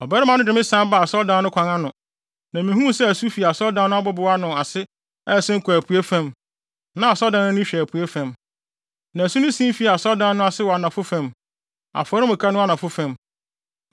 Ɔbarima no de me san baa asɔredan no kwan ano, na mihuu sɛ asu fi asɔredan no abobow ano ase a ɛsen kɔ apuei fam (na asɔredan no ani hwɛ apuei fam). Na asu no sen fii asɔredan no ase wɔ anafo fam; afɔremuka no anafo fam.